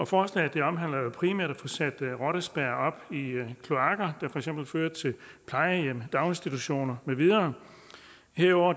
forslaget omhandler jo primært at få sat rottespærrer op i kloakker der for eksempel fører til plejehjem daginstitutioner med videre herudover